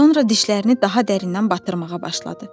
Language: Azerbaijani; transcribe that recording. Sonra dişlərini daha dərindən batırmağa başladı.